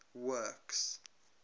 works